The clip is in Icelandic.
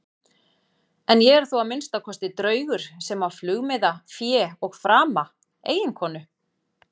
En ég er þó að minnsta kosti draugur sem á flugmiða, fé og frama, eiginkonu.